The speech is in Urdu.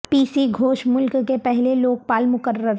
پی سی گھوش ملک کے پہلے لوک پال مقرر